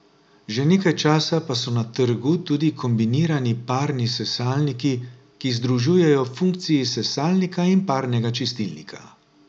Že nekaj časa pa so na trgu tudi kombinirani parni sesalniki, ki združujejo funkciji sesalnika in parnega čistilnika.